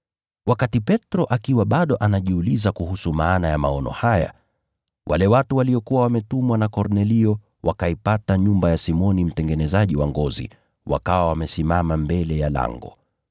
Wakati Petro akiwa bado anajiuliza kuhusu maana ya maono haya, wale watu waliokuwa wametumwa na Kornelio wakaipata nyumba ya Simoni mtengenezaji wa ngozi wakawa wamesimama mbele ya lango.